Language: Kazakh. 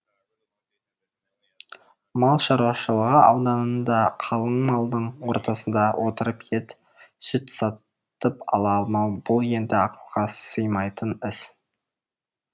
мал шаруашылығы ауданында қалың малдың ортасында отырып ет сүт сатып ала алмау бұл енді ақылға сыймайтын іс